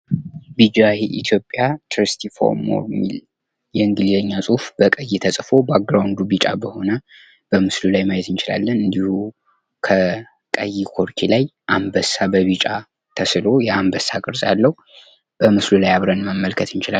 ቢጂአይ ኢትዮጵያን Thirsty for more የሚል የእንግሊዝኛ ጽሁፍ በቀይ ተጽፎ ባክግራውንዱ ቢጫ ሆኖ በምስሉ ላይ ማየት እንችላለን እንዲሁም ከቀይ ቆርኪ ጋር አንበሳ በቢጫ ተስሎ የአንበሳ ቅርጽ አለው። በምስሉ ላይ አብረን መመልከት እንችላለን።